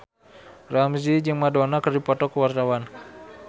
Ramzy jeung Madonna keur dipoto ku wartawan